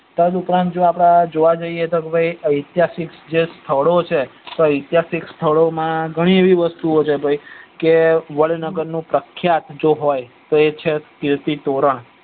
તદ ઉપરાંત આપડે જોવા જઈએ તો અતિહાસિક જે સ્થળો છે અતિહાસિક સ્થળો માં ગણી એવી વસ્તુઓ છે કે વડનગર નું પ્રખ્યાત જો હોય એ છે કીર્તિ તોરણ